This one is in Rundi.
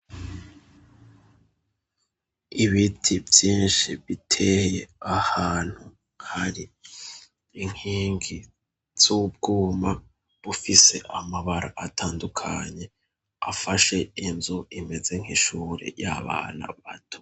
Ibiti byinshi biteye ahantu hari inkingi z'ubwuma bufise amabara atandukanye afashe inzu imeze nk'ishuri y'abana bato.